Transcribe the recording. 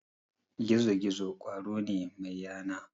Gizo-gizo ƙwaro ne mai yana.